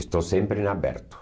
Estou sempre em aberto.